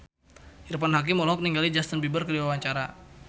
Irfan Hakim olohok ningali Justin Beiber keur diwawancara